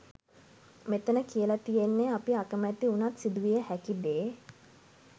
මෙතන කියල තියෙන්නේ අපි අකමැති උනත් සිදුවිය හැකි දේ.